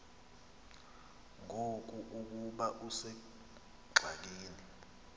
ngoku ukuba usengxakini